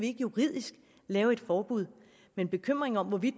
ikke juridisk kan lave et forbud men bekymringen om hvorvidt